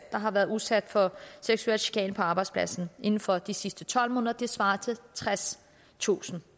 der har været udsat for seksuel chikane på arbejdspladsen inden for de sidste tolv måneder det svarer til tredstusind